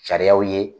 Sariyaw ye